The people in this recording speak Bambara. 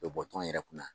U bɛ bɔ tɔnɔn yɛrɛ kunna